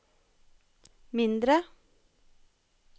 mindre